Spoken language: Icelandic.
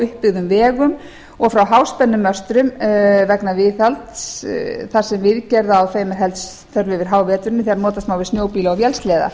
uppbyggðum vegum að og frá háspennumöstrum vegna viðhalds þar sem viðgerða á þeim er helst þörf yfir háveturinn þegar notast má við snjóbíla og vélsleða